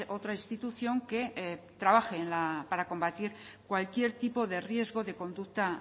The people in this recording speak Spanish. otra institución que trabaje para combatir cualquier tipo de riesgo de conducta